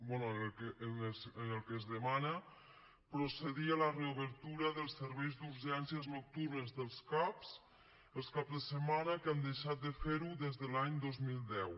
bé en el que es demana procedir a la reobertura dels serveis d’urgències nocturnes dels cap els caps de setmana que han deixat de fer ho des de l’any dos mil deu